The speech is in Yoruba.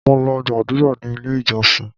Mo lọ gbàdúrà ní ilé ìjọsìn.